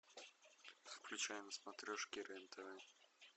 включай на смотрешке рен тв